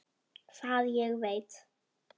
Það ég veit.